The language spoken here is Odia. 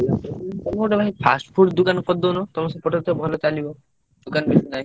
ତମେ ଗୋଟେ ଭାଇ fast food ଦୋକାନ କରିଦଉନ, ତମ ସେପଟେ ତ ଭଲଚାଲିବ ଦୋକାନ କିଛି ନାହିଁ।